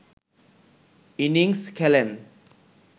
innings খেলেন